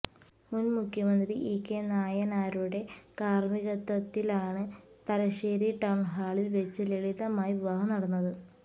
മുൻ മുഖ്യമന്ത്രി ഇകെ നായനാരുടെ കാർമികത്വത്തിലാണ് തലശ്ശേരി ടൌൺ ഹാളിൽ വെച്ച് ലളിതമായി വിവാഹം നടന്നത്